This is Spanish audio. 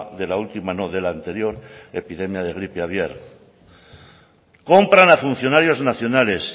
de la última no de la anterior epidemia de gripe aviar compran a funcionarios nacionales